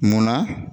Munna